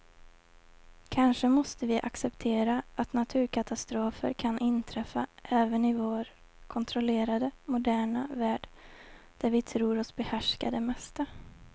Kanske måste vi acceptera att naturkatastrofer kan inträffa även i vår kontrollerade, moderna värld där vi tror oss behärska det mesta.